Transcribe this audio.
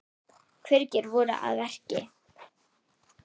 Hverjir voru að verki?